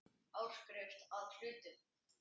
Áskrift að hlutum.